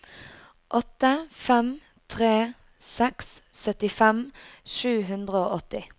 åtte fem tre seks syttifem sju hundre og åtti